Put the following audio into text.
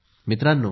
मित्रांनो